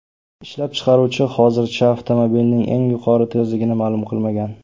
Ishlab chiqaruvchi hozircha avtomobilning eng yuqori tezligini ma’lum qilmagan.